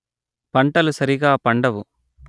పంటలు సరిగా పండవు